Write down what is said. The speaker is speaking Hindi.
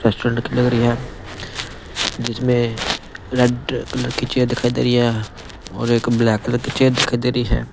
रेस्टोरेंट की लग रही है जिसमें रेड कलर की चेयर दिखाई दे रही है और एक ब्लैक कलर की चेयर दिखाई दे रही है।